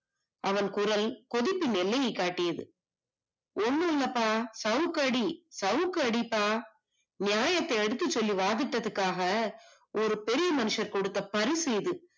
அவன் குரல் குதிப்பின் எல்லையை காட்டியது ஒன்னும் இல்லப்பா அது கொசுக்கடி சவுக்கடி நியாயத்தை எடுத்துச் சொல்லி வாதிட்டத்துக்காக ஒரு பெரிய மனுஷர் கொடுத்த பரிசு இது